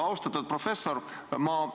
Austatud professor!